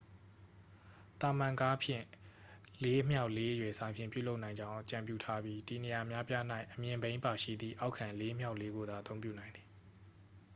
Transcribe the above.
သာမန်ကားဖြင့်4 x 4 အရွယ်အစားဖြင့် ပြုလုပ်နိုင်ကြောင်း အကြံပြုထားပြီး တည်နေရာအများအပြား၌ အမြင့်ဘီးပါရှိသည့် အောက်ခံ 4 x 4 ကိုသာ အသုံးပြုနိုင်သည်